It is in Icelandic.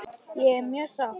Ég er mjög sátt.